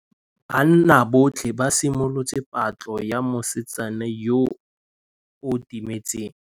Banna botlhê ba simolotse patlô ya mosetsana yo o timetseng.